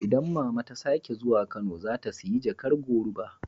Idan mama ta sake zuwa Kano, za ta siya jakar goruba.